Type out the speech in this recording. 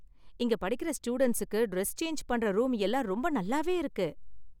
இங்க படிக்குற ஸ்டூடண்ட்ஸுக்கு டிரஸ் சேஞ்ச் பண்ற ரூம் எல்லாம் ரொம்ப நல்லாவே இருக்கு.